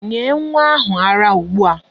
Nye nwa ahụ ara ugbu a!